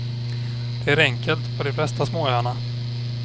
Det är enkelt på de flesta småöarna.